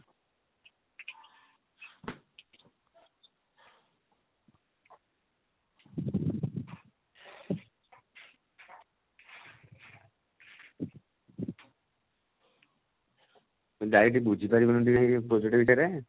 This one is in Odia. ତୁ ଯାଇକି ଟିକେ ବୁଝିପାରିବୁନି ଟିକେ ସେ project ବିଷୟରେ?